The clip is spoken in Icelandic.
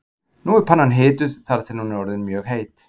Nú er pannan hituð þar til hún er orðin mjög heit.